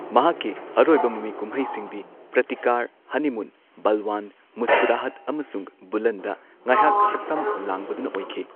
ꯃꯍꯥꯛꯀꯤ ꯑꯔꯣꯏꯕ ꯃꯃꯤ ꯀꯨꯝꯍꯩꯁꯤꯡꯗꯤ ꯄ꯭ꯔꯇꯤꯀꯥꯔ, ꯍꯅꯤꯃꯨꯟ, ꯕꯜꯋꯥꯟ, ꯃꯨꯁꯀꯨꯔꯥꯍꯠ, ꯑꯃꯁꯨꯡ ꯕꯨꯂꯟꯗ ꯉꯥꯢꯍꯥꯛ ꯁꯛꯇꯝ ꯂꯥꯡꯕꯗꯨꯅ ꯑꯣꯏꯈꯤ꯫